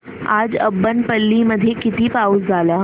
आज अब्बनपल्ली मध्ये किती पाऊस झाला